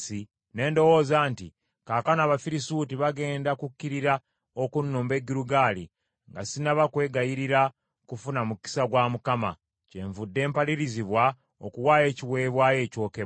ne ndowooza nti, ‘Kaakano Abafirisuuti bagenda kukkirira okunnumba e Girugaali, nga sinnaba kwegayirira kufuna mukisa gwa Mukama , kyenvudde mpalirizibwa okuwaayo ekiweebwayo ekyokebwa.’ ”